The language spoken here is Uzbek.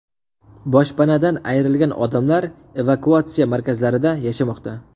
Boshpanadan ayrilgan odamlar evakuatsiya markazlarida yashamoqda.